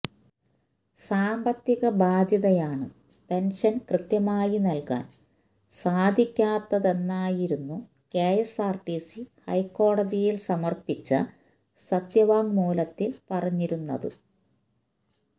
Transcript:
സാമ്പത്തിക ബാധ്യതയാണ് പെന്ഷന് കൃത്യമായി നല്കാന് സാധിക്കാത്തതെന്നായിരുന്നു കെഎസ്ആര്ടിസി ഹൈക്കോടതിയിൽ സമർപ്പിച്ച സത്യവാങ്മൂലത്തില് പറഞ്ഞിരുന്നത്